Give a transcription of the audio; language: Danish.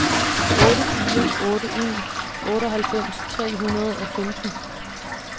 otte fire otte en otteoghalvfems tre hundrede og femten